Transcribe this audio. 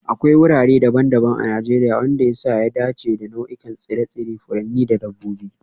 Akwai wurare daban-daban a Najeriya wanda ya sa ya dace da nau'ikan tsire-tsire, furanni da dabbobi